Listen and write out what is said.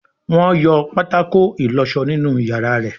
Wón yọ patako ìlósó nínú iyàrá rẹ.